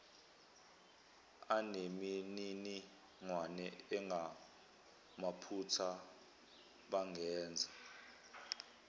anemininingwane engamaphutha bangenza